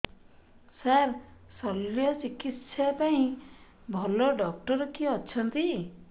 ସାର ଶଲ୍ୟଚିକିତ୍ସା ପାଇଁ ଭଲ ଡକ୍ଟର କିଏ ଅଛନ୍ତି